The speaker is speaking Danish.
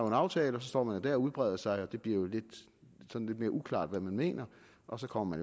en aftale så står man der og udbreder sig og det bliver lidt mere uklart hvad man mener og så kommer